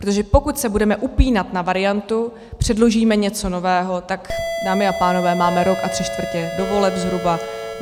Protože pokud se budeme upínat na variantu "předložíme něco nového", tak dámy a pánové, máme rok a tři čtvrtě do voleb zhruba.